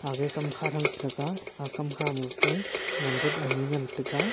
age kam kha chan tega aga kam kha ma ke wan tuta nai ngan tega.